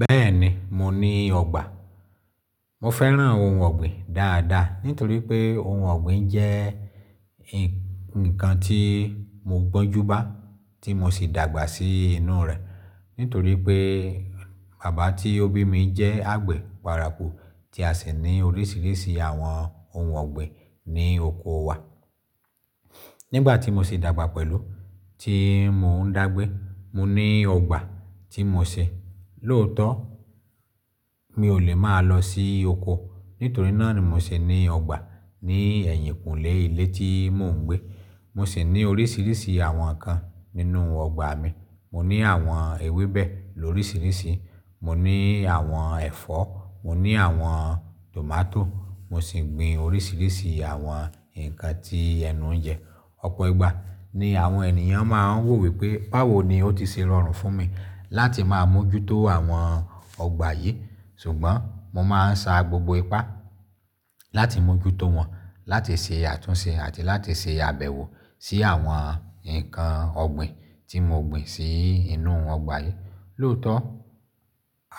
Bẹ́ẹ̀ni, mo ní ọgbà. Mo fẹ́ràn ohun ọ̀gbìn dáadáa nítorí pé ohun ọ̀gbìn jẹ́ ǹkan tí mo gbọ́njú bá tí mo sì dàgbà sí inú rẹ̀. Nítorí pé bàbá tí ó bí mi jẹ́ àgbẹ̀ paraku tí a sì ní oríṣiríṣi àwọn ohun ọ̀gbìn ní oko wa. Nígbà tí mo sì dàgbà pẹ̀lú, tí mò ń dàgbé, mo ní ọgbà tí mo ṣe. Lòótọ́, mi ò lè máa lọ sí oko, nítorí náà ni mo sì ní ọgbà ní ẹ̀yìnkùnlé ilé tí mò ń gbé. Mo sì ní oríṣiríṣi àwọn ǹkan nínú ọgbà mi. Mo ní àwọn ewébẹ̀ lórísìírísìí, mo ní àwọn ẹ̀fọ́, mo ní àwọn tòmátò, mo sì gbin oríṣiríṣi àwọn ǹkan tí ẹnu ń jẹ. Ọ̀pọ̀ ìgbà ni àwọn ènìyàn máa ń wò wí pé báwo ni ó ti ṣe rọrùn fún mi láti máa mójútó àwọn ọgbà yìí, ṣùgbọ́n mo máa ń sa gbogbo ipá láti mójútó wọn, láti ṣe àtúnṣe àti láti ṣe àbẹ̀wò sí àwọn ǹkan ọ̀gbìn tí mo gbìn sí inú ọgbà yìí. Lòótọ́,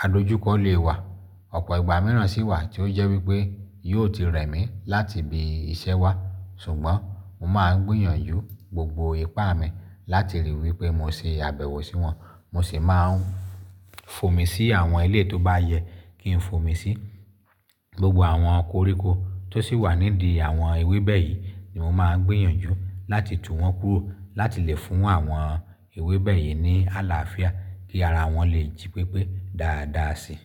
adójúkọ lè wà, ọ̀pọ̀ ìgbà mìíràn sì wà tí ó jẹ́ wí pé yóò ti rẹ̀ mí láti bi iṣẹ́ wa, ṣùgbọ́n mo máa ń gbìyànjú gbogbo ipá mi láti rí i wí pé mo ṣe àbẹ̀wò sí wọn. Mo sì máa ń fòmi sí àwọn ilé tó bá yẹ kí n fòmi sí. Gbogbo àwọn koríko tó sì wà nídi àwọn ewébẹ̀ yìí ni mo máa ń gbìyànjú láti tú wọn kúrò láti lè fún àwọn ewébẹ̀ yìí ní àlàáfíà kí ara wọn lè jí pépé dáadáa si.